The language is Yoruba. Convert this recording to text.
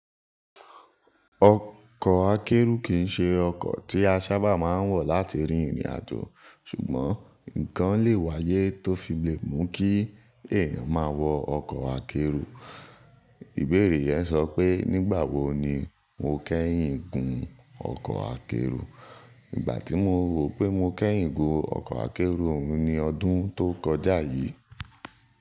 Ọkọ̀ akẹ́rù kì í ṣe ọkọ̀ tí a sábà máa ń wọ̀ láti rìn ìrìnàjò, ṣùgbọ́n nǹkan lè wáyé tó fi le mu kí èèyàn máa wọ ọkọ̀ akẹ́rù. Ìbéèrè yẹn sọ pé nígbà wo ni mo kẹ́yìn gùn ọkọ̀ akẹ́rù? Ìgbà tí mo rò pé mo kẹ́yìn gùn ọkọ̀ akẹ́rù ohun ni ọdún tó kọjá yìí.